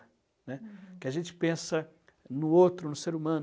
né, uhum. Porque a gente pensa no outro, no ser humano.